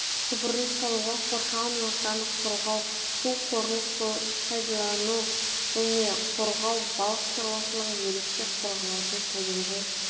құбырын салуға қоршаған ортаны қорғау су қорын пайдалану және қорғау балық шаруашылығы ерекше қорғалатын табиғи